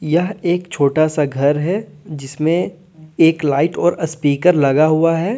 यह एक छोटा सा घर है जिसमें एक लाइट और स्पीकर लगा हुआ है।